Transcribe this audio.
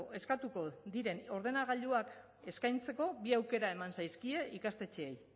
eskatuko diren ordenagailuak eskaintzeko bi aukera eman zaizkie ikastetxeei